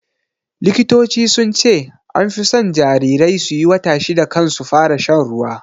Likitoci sunce anfi son jarirai suyi wata shida kan su fara shan ruwa